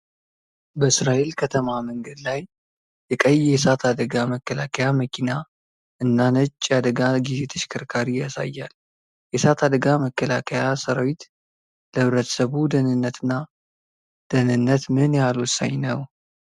በእስራኤል ከተማ መንገድ ላይ የቀይ የእሳት አደጋ መከላከያ መኪና እና ነጭ የአደጋ ጊዜ ተሽከርካሪ ያሳያል። የእሳት አደጋ መከላከያ ሰራዊት ለህብረተሰቡ ደህንነት እና ደህንነት ምን ያህል ወሳኝ ነው?